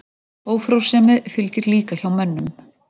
Ófrjósemi fylgir líka hjá mönnum.